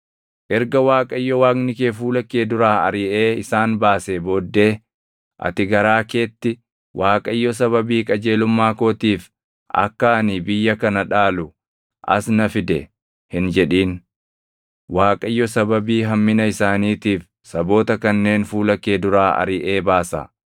Erga Waaqayyo Waaqni kee fuula kee duraa ariʼee isaan baasee booddee ati garaa keetti, “ Waaqayyo sababii qajeelummaa kootiif akka ani biyya kana dhaalu as na fide” hin jedhin. Waaqayyo sababii hammina isaaniitiif saboota kanneen fuula kee duraa ariʼee baasa.